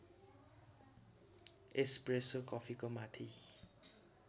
espresso कफीको माथि